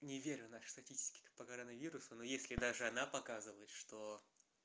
не верю нашей статистики по коронавирусу но если даже она показывает что